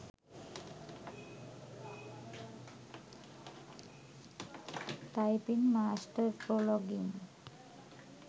typing master pro login